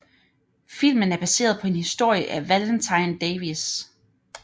Filmen er baseret på en historie af Valentine Davies